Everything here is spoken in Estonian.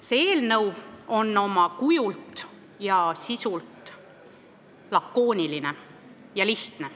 See eelnõu on oma kujult ja sisult lakooniline ja lihtne.